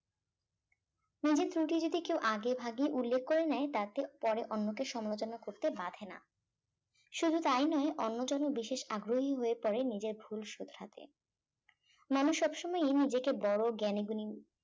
নিজের ত্রুটি যদি কেউ আগে ভাগে উল্লেখ করে নেয় তাতে পরে অন্যকে সমালোচনা করতে বাধে না শুধু তাই নয় অন্য জনের বিশেষ আগ্রহী হয়ে পড়ে নিজের ভুল শুধরাতে নমো সবসময় নিজেকে বড় জ্ঞানীগুণী